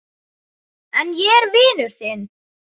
En ég er vinur þinn.